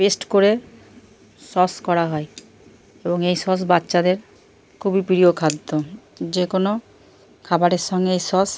Paste করে sauce করা হয়। এবং এই সস বাচ্চাদের খুবই প্রিয় খাদ্য । যেকোনো খাবারের সঙ্গে এই সস --